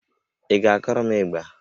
Ị ga-akụrụ m ịgbà